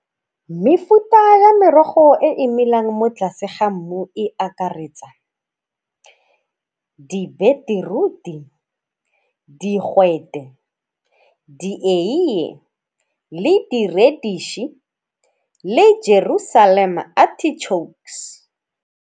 Mefuta ya merogo e e melang mo tlase ga mmu e akaretsa di-beetroot-i, digwete, dieiye le di le .